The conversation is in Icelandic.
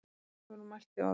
Hvorugur mælti orð.